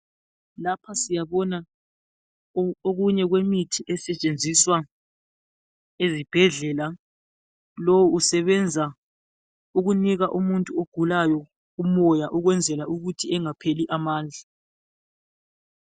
Lapha siyabona okunye kwemithi esetshenziswa ezibhedlela lowu kusebenza ukunika umuntu ogulayo umoya ukwenzela ukuthi engapheli amandla.